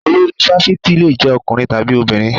Olori fáfitì le jẹ́ ọkùnrin tàbí obìnrin.